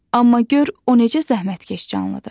Amma gör o necə zəhmətkeş canlıdır.